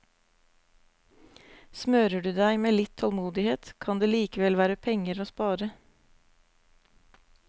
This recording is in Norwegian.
Smører du deg med litt tålmodighet, kan det likevel være penger å spare.